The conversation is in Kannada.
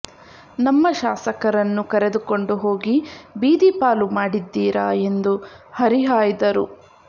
ನಮ್ಮ ಶಾಸಕರನ್ನು ಕರೆದುಕೊಂಡು ಹೋಗಿ ಬೀದಿ ಪಾಲು ಮಾಡಿದ್ದೀರಾ ಎಂದು ಹರಿಹಾಯ್ದರು